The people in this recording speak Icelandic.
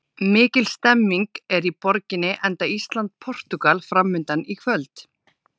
Mikil stemning er í borginni enda Ísland- Portúgal framundan í kvöld.